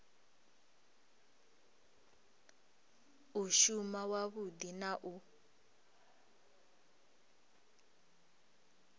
u shuma wavhudi na u